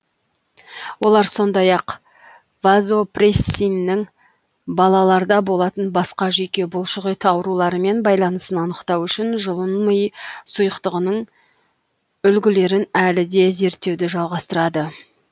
олар сондай ақ вазопрессиннің балаларда болатын басқа жүйке бұлшықет ауруларымен байланысын анықтау үшін жұлын ми сұйықтығының үлгілерін әлі де зерттеуді жалғастырады